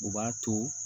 U b'a to